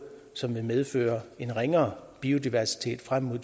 som vil medføre en ringere biodiversitet frem mod